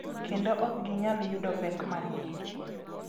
Kendo ok ginyal yudo pek mang’eny